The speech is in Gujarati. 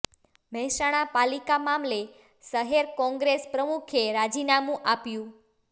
મહેસાણા પાલિકા મામલે શહેર કોંગ્રેસ પ્રમુખે રાજીનામું આપ્યું